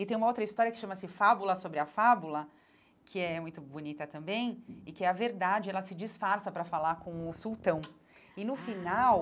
E tem uma outra história que chama-se Fábula sobre a Fábula, que é muito bonita também, e que é a verdade, ela se disfarça para falar com o sultão ah, e no final...